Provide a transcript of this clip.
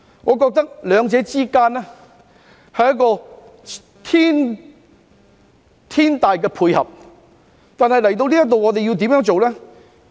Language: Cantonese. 我覺得兩者是一個天大的配合，但我們來到這一步要怎樣做呢？